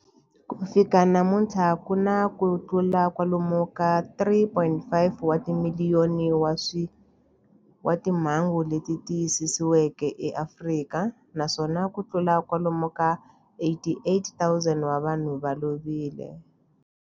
Ku fika namuntlha ku na kutlula kwalomu ka 3.5 wa timiliyoni wa timhangu leti tiyisisiweke eAfrika, naswona kutlula kwalomu ka 88,000 wa vanhu va lovile.